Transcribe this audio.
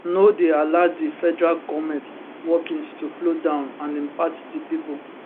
no dey allow di federal goment workings to flow down and impact di pipo